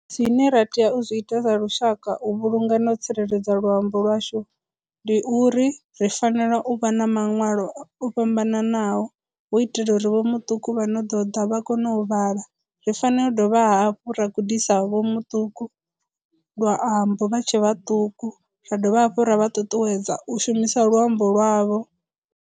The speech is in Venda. Zwine ra tea u zwi ita sa lushaka u vhulunga na u tsireledza luambo lwashu ndi uri ri fanela u vha na maṅwalo o fhambananaho hu itela uri vho muṱuku vha no ḓo ḓa vha kono u vhala, ri fanela u dovha hafhu ra gudisa vho muṱuku luambo vha tshe vhaṱuku ra dovha hafhu ra vha ṱuṱuwedza u shumisa luambo lwavho.